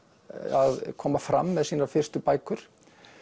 að koma fram með sínar fyrstu bækur